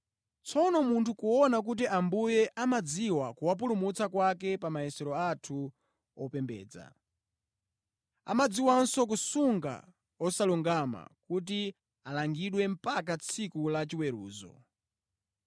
Tsono mutha kuona kuti Ambuye amadziwa kuwapulumutsa kwake pa mayesero anthu opembedza. Amadziwanso kusunga osalungama kuti alangidwe mpaka tsiku la chiweruzo.